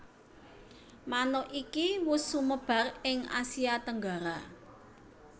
Manuk iki wus sumebar ing Asia Tenggara